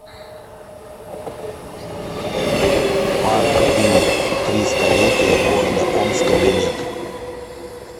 парк им триста летия города омска билет